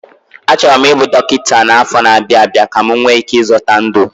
Achọrọ m ịbụ dọkịta n'afọ na-abịa abịa ka m nwee ike ịzọta ndụ